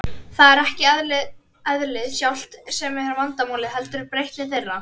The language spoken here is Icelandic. Það er ekki eðlið sjálft sem er vandamálið, heldur breytni þeirra.